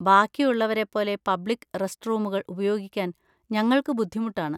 ബാക്കിയുള്ളവരെപോലെ public റസ്റ്റ്റൂമുകൾ ഉപയോഗിക്കാൻ ഞങ്ങൾക്ക് ബുദ്ധിമുട്ടാണ്.